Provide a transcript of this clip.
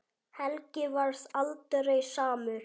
Helgi varð aldrei samur.